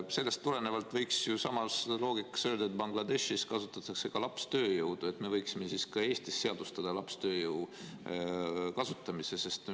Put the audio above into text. Siis aga võiks ju samast loogikast lähtudes öelda, et Bangladeshis kasutatakse lapstööjõudu ja me võiksime ka Eestis seadustada lapstööjõu kasutamise.